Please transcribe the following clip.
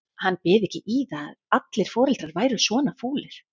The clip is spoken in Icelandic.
Hann byði ekki í það ef allir foreldrar væru svona fúlir.